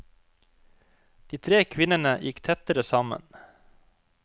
De tre kvinnene gikk tettere sammen.